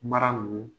Mara ninnu